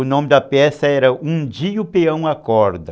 O nome da peça era Um Dia o Peão Acorda.